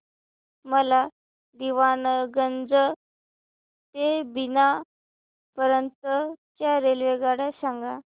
मला दीवाणगंज ते बिना पर्यंत च्या रेल्वेगाड्या सांगा